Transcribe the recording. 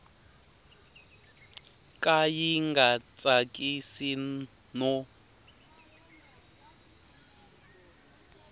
ka yi nga tsakisi no